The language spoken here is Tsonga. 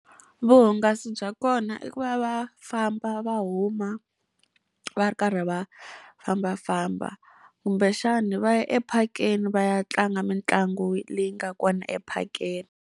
Vuhungasi bya kona i ku va va famba va huma va ri karhi va fambafamba, kumbexani va ya ephakeni va ya tlanga mitlangu leyi nga kona ephakeni.